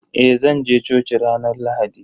Eh zanje coci ranar Lahadi.